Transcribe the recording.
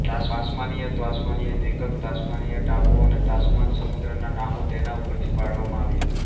Tasmania Tasmania દ્રિપકલ્પ Tasmania ટાપુ અને તાસ્માન સમુદ્રના નામો તેના ઉપરથી પાડવામાં આવ્યા છે